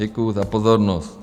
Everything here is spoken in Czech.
Děkuju za pozornost.